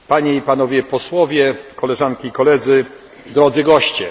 i Panowie Posłowie, Koleżanki i Koledzy, drodzy goście!